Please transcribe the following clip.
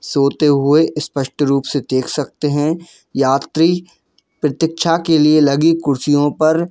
सोते हुए स्पष्ट रूप से देख सकते हैं यात्री प्रतीक्षा के लिए लगी कुर्सियों पर--